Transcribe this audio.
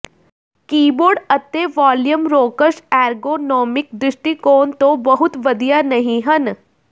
keyboard ਅਤੇ volume rockers ergonomic ਦ੍ਰਿਸ਼ਟੀਕੋਣ ਤੋਂ ਬਹੁਤ ਵਧੀਆ ਨਹੀਂ ਹਨ